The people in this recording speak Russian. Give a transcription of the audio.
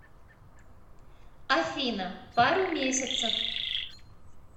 афина пару месяцев